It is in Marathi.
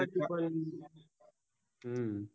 च्या पण हूं